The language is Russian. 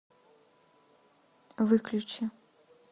выключи